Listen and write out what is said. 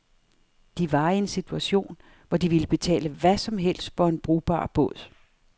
De var i en situation, hvor de ville betale hvad som helst for en brugbar båd.